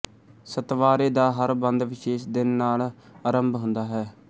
ਸਤਵਾਰੇ ਦਾ ਹਰ ਬੰਦ ਵਿਸ਼ੇਸ਼ ਦਿਨ ਨਾਲ ਆਰੰਭ ਹੁੰਦਾ ਹੈ